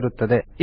ಆಗಿರುತ್ತದೆ